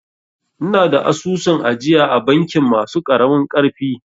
Ina da asusun ajiya a bankin masu ƙaramin ƙarfi